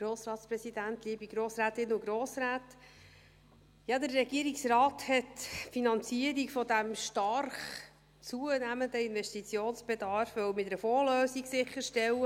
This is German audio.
Ja, der Regierungsrat wollte die Finanzierung dieses stark zunehmenden Investitionsbedarfs mit einer Fondslösung sicherstellen.